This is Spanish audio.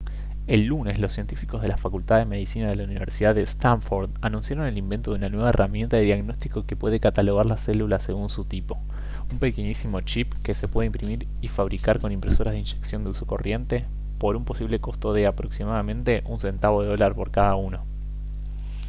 el lunes los científicos de la facultad de medicina de la universidad de stanford anunciaron el invento de una nueva herramienta de diagnóstico que puede catalogar las células según su tipo un pequeñísimo chip que se puede imprimir y fabricar con impresoras de inyección de uso corriente por un posible costo de aproximadamente un centavo de dólar por cada uno